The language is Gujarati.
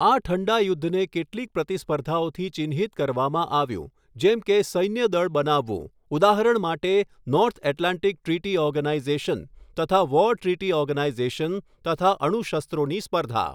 આ ઠંડાયુધ્ધને કેટલીક પ્રતિસ્પર્ધીઓથી ચિહ્નિત કરવામાં આવ્યું જેમ કે સૈન્ય દળ બનાવવું ઉદાહરણ માટે નોર્થ એટલાન્ટિક ટ્રિટી ઓર્ગેનાઈઝેશન તથા વૉર ટ્રીટી ઓર્ગેનાઈઝેશન તથા અણુશસ્ત્રોની સ્પર્ધા.